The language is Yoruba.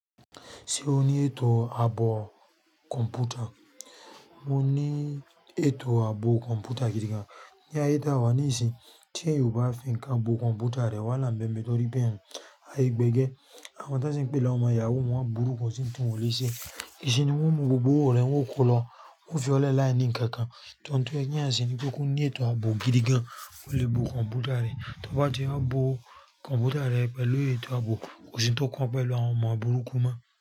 Ṣé o ní ètò ààbò kọ̀ǹpútà? Mo ní ètò ààbò kọ̀ǹpútà gidi gan. Ní ayé tó wà níìsín, tí ènìyàn ò bá fìnkan bo kọ̀ǹpútà rẹ̀ wá là ń bẹ́ n bẹ́ torí pẹ́ aye gbégé. Àwọn tosì ń pè láwọn ọmọ yàwúù n wọ́n burú, kò sì n ti wọ́n lè ṣe. Ìṣe ni wọ́n mú gbogbo òrò rẹ̀, wọn kò lọ. Wọn fi ọ̀lẹ láìní nkankan. To mọ̀ ẹni yẹn sì ní pé ó kú ní ètò ààbò gidi gan, ó le bo kọ̀ǹpútà rẹ̀. Tó bá ti a bo kọ̀ǹpútà rẹ̀ pẹ̀lú ètò ààbò, kò sì n tó kán e pẹ̀lú àwọn ọmọ burúkú mo.